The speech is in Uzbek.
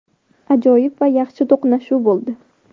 Ajoyib va yaxshi to‘qnashuv bo‘ldi.